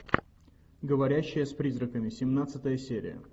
говорящая с призраками семнадцатая серия